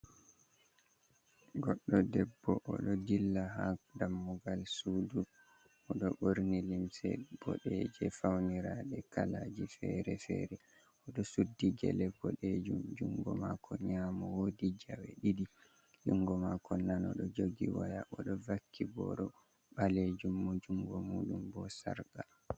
Goɗɗo debbo oɗo dilla ha dammugal sudu, moɗo ɓorni limse boɗeje fauniraɗe kalaji fere-fere, oɗo suddi gele boɗejum jungo mako nyamo wodi jawe ɗiɗi, jungo mako nano ɗo jogi waya oɗo vakki boro ɓalejumum jungo muɗum bo sarqa.